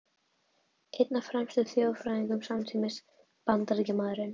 Einn af fremstu þjóðfræðingum samtímans, Bandaríkjamaðurinn